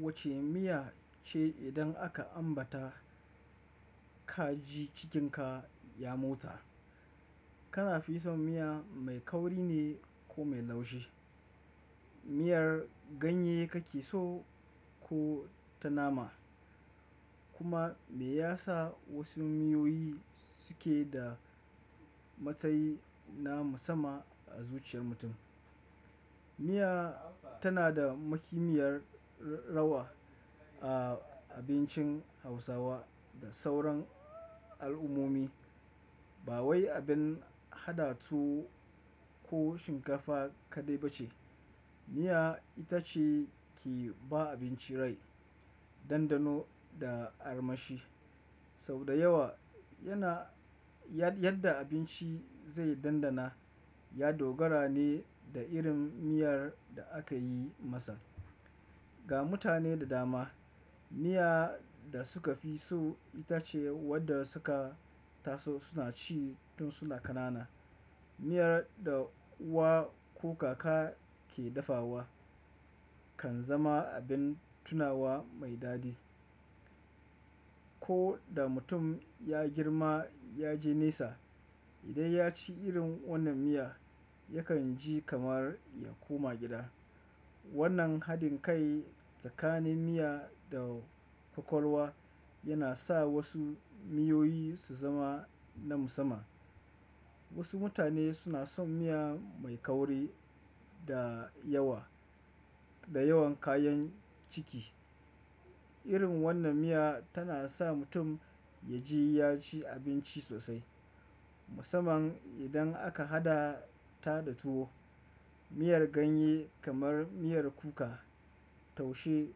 Wacce miya ce idan aka ambata ka ji cikinka ya motsa? Kana fi son miya mai kauri ne ko mai laushi? Miyar ganye kake so ko ta nama? Kuma me yasa wasu miyoyi suke da matsayi na musamman a zuciyar mutum? Miya tana da muhimmiyar rawa a abincin Hausawa da sauran al'ummomi. Ba wai abin haɗa tuwo ko shinkafa kaɗai ba ce, miya ita ce ke ba abinci rai, dandano da armashi. Saboda yawa yana, yadda abinci zai dandana, ya dogara ne da irin miyar da aka yi masa. Ga mutane da dama, miya da suka fi so ita ce wadda suka taso suna ci tun suna ƙanana. Miyar da uwa ko kaka ke dafawa kan zama abin tunawa mai dadi. Ko da mutum ya girma ya je nesa, idan ya ci irin wannan miya, yakan ji kamar ya koma gida. Wannan haɗin kai tsakanin miya da kwakwalwa yana sa wasu miyoyi su zama na musamman. Wasu mutane suna son miya mai kauri da yawa da yawan kayan ciki. Irin wannan miya tana sa mutum ya ji ya ci abinci sosai, musamman idan aka haɗa ta da tuwo. Miyar ganye kamar miyar kuka, taushe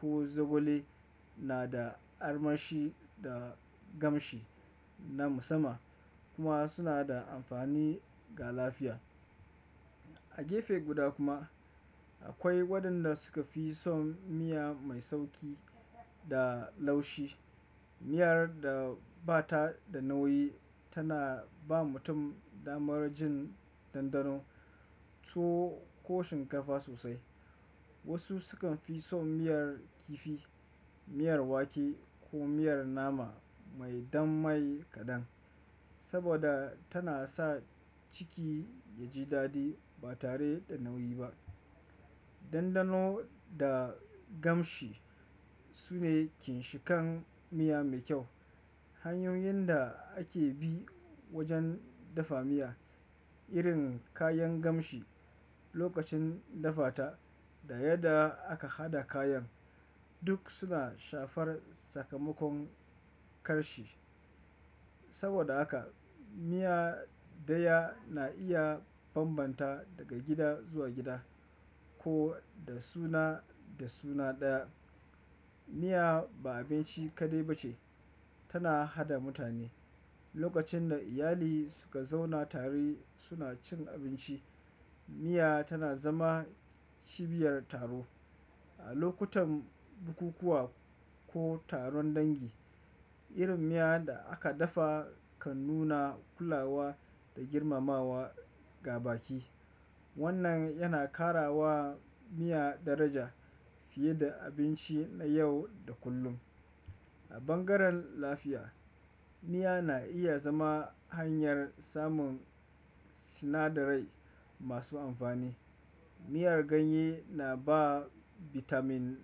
ko zogale na da armashi da kamshi na musamman, kuma suna da amfani ga lafiya. A gefe guda kuma, akwai waɗanda suka fi son miya mai sauƙi da laushi. Miyar da ba ta da nauyi tana ba mutum damar jin dandano tuwo ko shinkafa sosai. Wasu sukan fi son miyar kifi, miyar wake ko miyar nama mai dannamai kaɗan saboda tana sa ciki ya ji dadi ba tare da nauyi ba. Dandano da kamshi sune ƙinshikan miya mai kyau. Hanyoyin da ake bi wajen dafa miya, irin kayan kamshi lokacin dafa ta da yadda aka haɗa kayan duk suna shafar sakamakon ƙarshe. Saboda haka, miya ɗaya na iya bambanta daga gida zuwa gida ko da suna da suna ɗaya. Miya ba abinci kaɗai ba ce, tana haɗa mutane. Lokacin da iyali suka zauna tare suna cin abinci, miya tana zama cibiyar taro. A lokutan bukukuwa ko taron dangi, irin miya da aka dafa kan nuna kulawa da girmamawa ga baƙi. Wannan yana ƙara wa miya daraja fiye da abinci na yau da kullum. A bangaren lafiya, miya na iya zama hanyar samun sinadarai masu amfani. Miyar ganye na ba bitamin,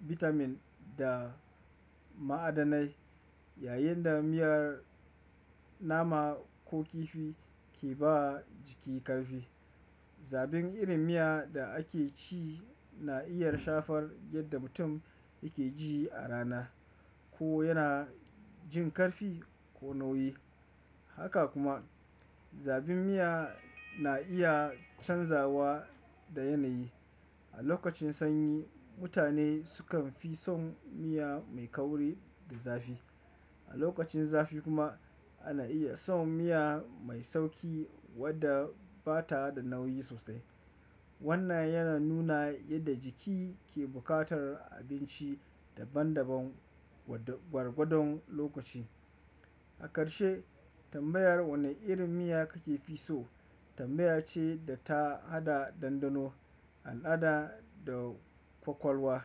bitamin da ma'adanai, yayin da miyar nama ko kifi ke ba jiki ƙarfi. Zabin irin miya da ake ci na iya shafar yadda mutum yake ji a rana, ko yana jin ƙarfi ko nauyi. Haka kuma, zabin miya na iya canzawa da yanayi. A lokacin sanyi, mutane sukan fi son miya mai kauri da zafi. A lokacin zafi kuma, ana iya son miya mai sauƙi wadda ba ta da nauyi sosai. Wannan yana nuna yadda jiki ke buƙatar abinci daban daban gwargwadon lokaci. A ƙarshe, tambayar wanne irin miya kake fi so tambaya ce da ta haɗa dandano, al'ada da kwakwalwa.